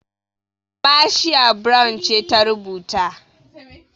Marcia Brown ce ta rubuta.